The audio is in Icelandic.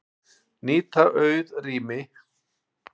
Nýta auð rými